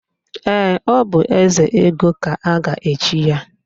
Ee, ọ bụ Ezego ka a ga-echi ya.